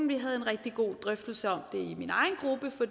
vi havde en rigtig god drøftelse om det